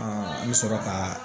an bɛ sɔrɔ ka